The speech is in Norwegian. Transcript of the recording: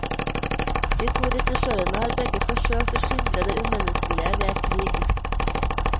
De to regissørene har begge forsøkt å skildre det umenneskelige ved krig.